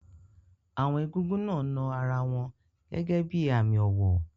Àwọn egúngún náà na ara wọn gẹ́gẹ́ bí i àmì ọ̀wọ̀.